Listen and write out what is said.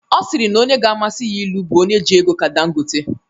Ọ sịrị na onye ọ ga-amasị ya ịlụ bụ onye ji ego ka Dangotte